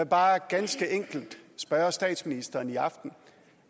bare ganske enkelt spørge statsministeren i aften